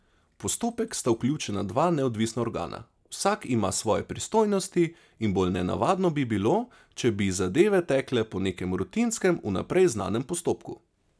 V postopek sta vključena dva neodvisna organa, vsak ima svoje pristojnosti, in bolj nenavadno bi bilo, če bi zadeve tekle po nekem rutinskem, vnaprej znanem postopku.